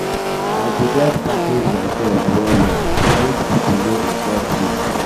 i go um just package mysef um well-well make pipo no insult um me.